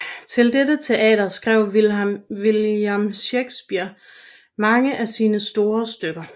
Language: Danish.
Til dette teater skrev William Shakespeare mange af sine store stykker